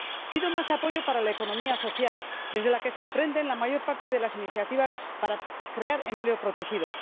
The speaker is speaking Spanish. Pido más apoyo para la economía social, desde la que se emprenden la mayor parte de las iniciativas para crear empleo protegido.